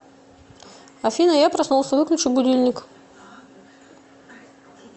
афина я проснулся выключи будильник